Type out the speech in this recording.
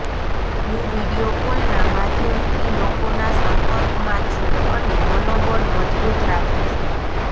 હું વિડીયો કોલના માધ્યમથી લોકોના સંપર્કમાં છું અને મનોબળ મજબૂત રાખું છું